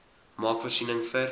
maak voorsiening vir